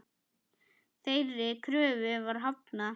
Þeirri kröfu var hafnað.